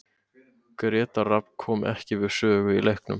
Grétar Rafn kom ekki við sögu í leiknum.